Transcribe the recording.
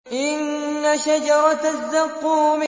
إِنَّ شَجَرَتَ الزَّقُّومِ